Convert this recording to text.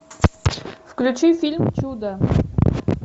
включи фильм чудо